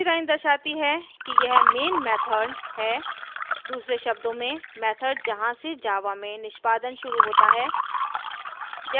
दूसरी line दर्शाती है कि यह main method main method है दूसरे शब्दों में method जहाँ से java में निष्पादन शुरू होता है